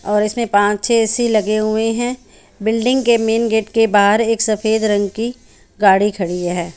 और इसमे पाँच छे एसी लगे हुए है बिल्डिंग के मेन गेट के बाहर एक सफ़ेद रंग की गाडी खड़ी है।